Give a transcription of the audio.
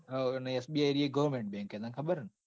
હા અન SBI એ goverment bank હે તને ખબર હેન.